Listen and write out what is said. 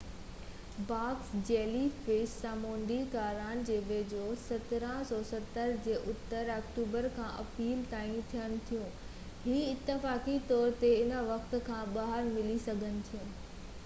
box jellyfish سامونڊي ڪنارن جي ويجھو ۽ 1770 جي اتر آڪٽوبر کان اپريل تائين ٿين ٿيون .هي اتفاقي طور تي انهي وقتن کان ٻاهر ملي سگهن ٿيون